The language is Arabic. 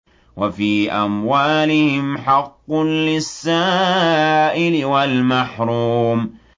وَفِي أَمْوَالِهِمْ حَقٌّ لِّلسَّائِلِ وَالْمَحْرُومِ